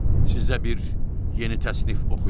sizə bir yeni təsnif oxuyum.